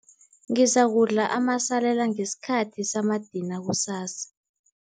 Ngizakudla amasalela ngesikhathi samadina kusasa.